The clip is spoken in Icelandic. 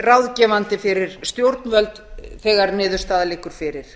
ráðgefandi fyrir stjórnvöld þegar niðurstaða liggur fyrir